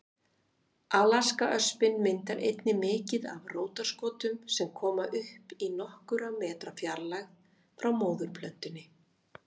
Alaskaöspin myndar einnig mikið af rótarskotum sem koma upp í nokkurra metra fjarlægð frá móðurplöntunni.